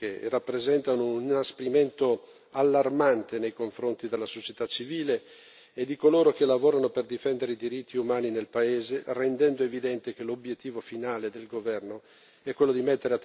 allarmante nei confronti della società civile e di coloro che lavorano per difendere i diritti umani nel paese, rendendo evidente che l'obiettivo finale del governo è quello di mettere a tacere il dissenso in vista delle prossime elezioni.